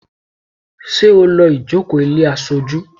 Ṣé o lọ́ ìjókòó ilé aṣojú?